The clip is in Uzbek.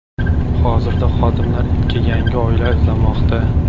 Hozirda xodimlar itga yangi oila izlamoqda.